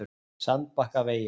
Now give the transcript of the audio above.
Sandbakkavegi